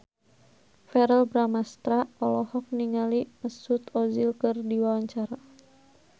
Verrell Bramastra olohok ningali Mesut Ozil keur diwawancara